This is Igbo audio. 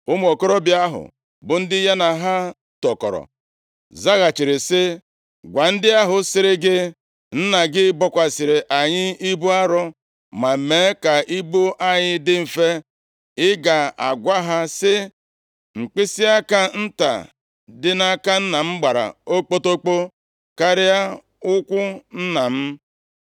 Ụmụ okorobịa ahụ, bụ ndị ya na ha tokọrọ, zaghachiri sị, “Gwa ndị ahụ sịrị gị, ‘Nna gị bokwasịrị anyị ibu arọ, ma mee ka ibu anyị dị mfe,’ ị ga-agwa ha, sị, ‘Mkpịsịaka nta dị nʼaka m gbara okpotokpo karịa ukwu nna m.